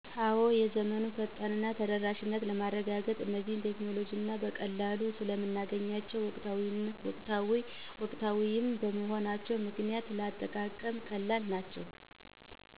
አዎ የዘመኑን ፈጣን እና ተደራሽነት በማረጋገጥ እነዚህ ቴክኖሎጂዎችን በቀላሉ ስለምናገኛቸው ወቅታዊም በመሆናቸው ምክንያት ለአጠቃቀም ቀላል ናቸው